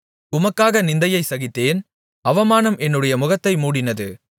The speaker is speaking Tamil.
உமக்காக நிந்தையைச் சகித்தேன் அவமானம் என்னுடைய முகத்தை மூடினது